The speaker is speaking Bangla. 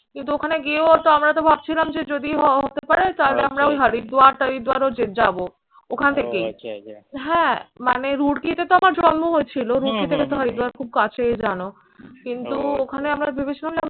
কিন্তু ওখানে গিয়েও তো আমরা তো ভাবছিলাম যে যদি হয় হতে পারে তাহলে আমরা ওই হরিদদুয়ার যে যাবো। ওখান থেকেই। হ্যাঁ মানে রুডকিতে তো আমার জন্ম হয়েছিল। রুডক থেকে তো হরিদদুয়ার খুব কাছেই জানো। কিন্তু ওখানে আমরা ভেবেছিলাম যে